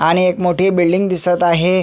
आणि एक मोठी बिल्डिंग दिसत आहे.